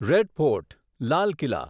red fort Lal Qila